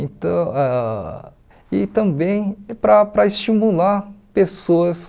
E tam ah e também para para estimular pessoas